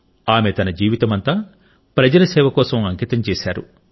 ఆమె తన జీవితమంతా ప్రజల సేవ కోసం అంకితం చేసింది